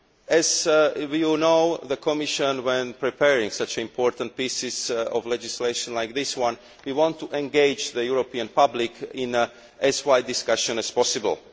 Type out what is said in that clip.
As you know, the Commission, when preparing such important pieces of legislation like this one, wants to engage the European public in as wide a discussion as possible.